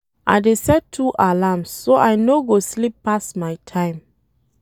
I dey set two alarms, so I no go sleep pass my time.